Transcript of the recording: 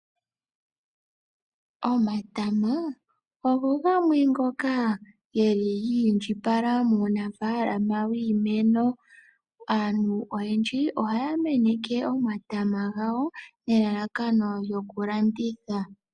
Omatama ogo gamwe ngoka geli giindjipala muunafaalama wiimeno, aantu oyendji ohaya meneke omatama gawo nelalakano lyokulanditha.